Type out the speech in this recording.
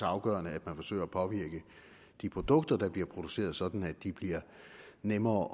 afgørende at man forsøger at påvirke de produkter der bliver produceret sådan at de bliver nemmere